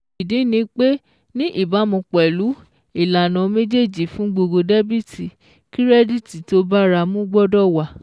Ìdí ni pé ní ìbámu pẹ̀lú ìlànà méjèèjì fún gbogbo dẹ́bìtì, kírẹ́díìtì tó báramu gbọ́dọ̀ wà